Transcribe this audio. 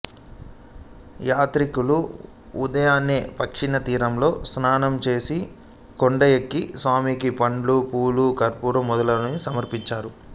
యాత్రికులు ఉదయాన్నే పక్షితీర్థంలో స్నానం చేసి కొండ ఎక్కి స్వామికి పండ్లు పూలు కర్పూరం మొదలైనవి సమర్పిస్తారు